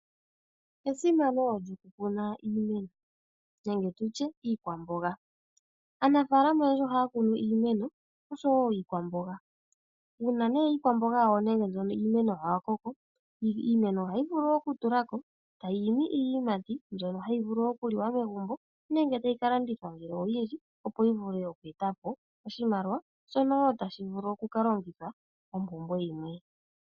Esimano lyo ku kuna iimeno nenge tutye iikwamboga, aanafaalama oyendji ohaya kunu iimeno osho woo iikwamboga. Uuna nee iimeno yawo nenge iikwamboga ya koko iimeno ohayi vulu okutula ko iiyimati mbyono hayi vulu oku liwa megumbo nenge tayi ka landithwa ngele oyindji opo yi vule oku eta po oshimaliwa shono woo tashi vulu oku ka longithwa mompumbwe yimwe.